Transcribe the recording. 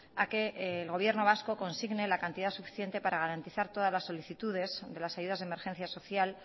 a que el gobierno vasco consigne la cantidad suficiente para garantizar todas las solicitudes de las ayudas de emergencia social